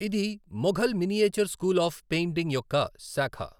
ఇది Mughal miniature school of painting యొక్క శాఖ.